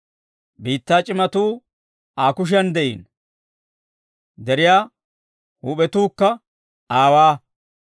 Biittaa c'iimmatuu Aa kushiyan de'iino; deriyaa huup'etuukka aawaa.